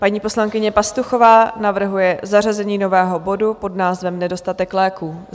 Paní poslankyně Pastuchová navrhuje zařazení nového bodu pod názvem Nedostatek léků.